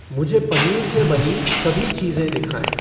मुझे पनीर से बनी सभी चीज़ें दिखाएँ